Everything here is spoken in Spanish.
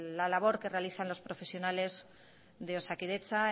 la labor que realiza los profesionales de osakidetza